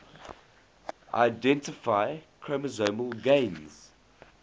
identify chromosomal gains